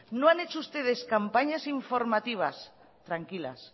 no han hecho ustedes campañas informativas tranquilas